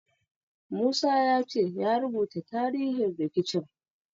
Musa ya ce ya rubuta tarihin rikicin.